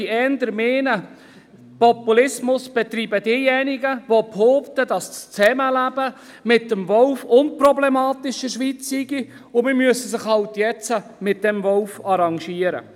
Ich würde eher meinen, Populismus betreiben diejenigen, die behaupten, das Zusammenleben mit dem Wolf in der Schweiz sei unproblematisch und man müsse sich halt jetzt mit diesem Wolf arrangieren.